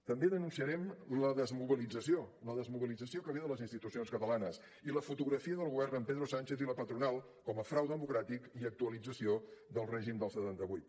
també denunciarem la desmobilització la desmobilització que ve de les institucions catalanes i la fotografia del govern amb pedro sánchez i la patronal com a frau democràtic i actualització del règim del setanta vuit